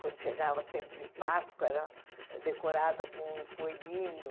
Quando chegava o tempo de Páscoa, era decorada com coelhinho.